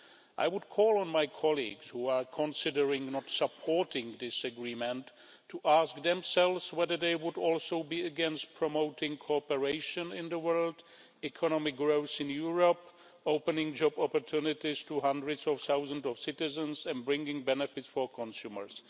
I would call on my colleagues who are considering not supporting this agreement to ask themselves whether they would also be against promoting cooperation in the world, economic growth in Europe, opening job opportunities to hundreds of thousands of citizens and bringing benefits for consumers.